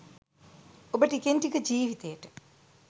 ඔබ ටිකෙන් ටික ජීවිතයට